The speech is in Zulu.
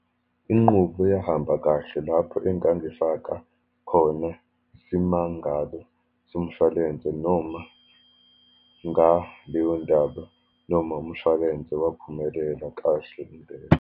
Inqubo eyahamba kahle lapho engangifaka khone isimangalo somshwalense, noma ngaleyo ndaba, noma umshwalense waphumelela kahle impela.